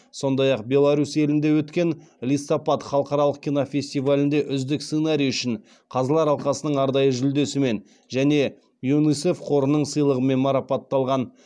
сондай ақ беларусь елінде өткен листопад халықаралық кинофестивалінде үздік сценарий үшін қазылар алқасының арнайы жүлдесімен және юнисеф қорының сыйлығымен марапатталған